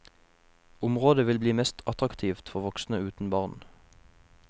Området vil bli mest attraktivt for voksne uten barn.